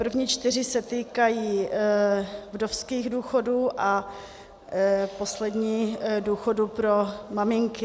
První čtyři se týkají vdovských důchodů a poslední důchodu pro maminky.